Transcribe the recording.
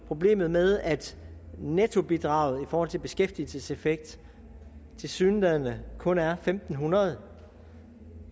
problemet med at nettobidraget i forhold til beskæftigelseseffekt tilsyneladende kun er en fem hundrede